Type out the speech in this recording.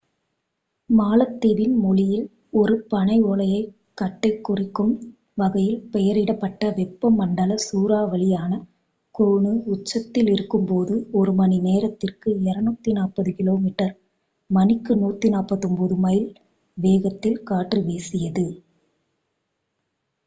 மாலத்தீவின் மொழியில் ஒரு பனையோலைக் கட்டைக் குறிக்கும் வகையில் பெயரிடப்பட்ட வெப்பமண்டல சூறாவளியான கோனு உச்சத்தில் இருக்கும் போது ஒரு மணிநேரத்திற்கு 240 கிலோமீட்டர் மணிக்கு 149 மைல் வேகத்தில் காற்று வீசியது